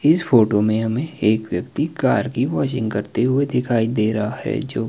इस फोटो में हमें एक व्यक्ति कार की वॉशिंग करते हुए दिखाई दे रहा है जो--